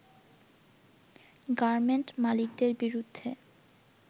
garment মালিকদের বিরুদ্ধে